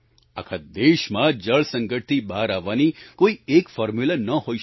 આખા દેશમાં જળ સંકટથી બહાર આવવાની કોઈ એક ફોર્મ્યૂલા ન હોઈ શકે